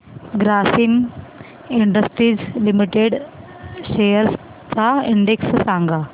Grasim industries limited shares चा index सांगा